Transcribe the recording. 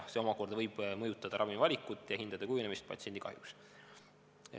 See omakorda võib mõjutada ravimivalikut ja hindade kujunemist patsiendi kahjuks.